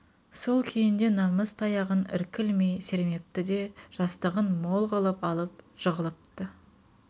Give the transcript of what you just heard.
сол күйінде намыс таяғын іркілмей сермепті де жастығын мол қылып алып жығылыпты